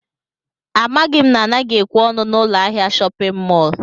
Amaghị m na anaghị ekwe ọnụ n'ụlọ ahịa shọpịn mọl